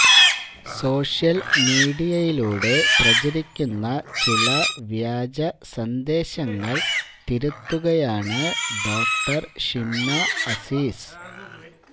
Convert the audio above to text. social മീഡിയയിലൂടെ പ്രചരിക്കുന്ന ചില വ്യാജ സന്ദേശങ്ങൾ തിരുത്തുകയാണ് ഡോക്ടർ ഷിംന അസീസ്